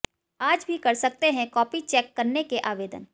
आज भी कर सकते हैं कॉपी चेक करने के आवेदन